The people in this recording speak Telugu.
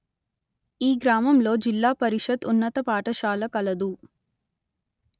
ఈ గ్రామంలో జిల్లా పరిషత్ ఉన్నత పాఠశాల కలదు